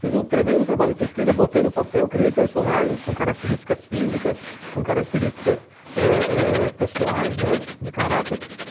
Fiz um tremendo trabalho de pesquisa, botei no papel, criei personagens com características físicas, com características eh eh pessoais, né, de caráter.